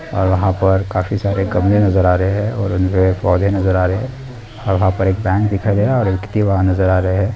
और वहां पर काफी सारे गमले नजर आ रहे हैं और उनमें पौधे नजर आ रहे हैं और वहां पे एक बैंक दिखाई दे रहा है एक वहां पे नजर आ रहे हैं।